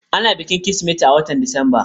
Ana bikin Kirsimeti a watan Disamba.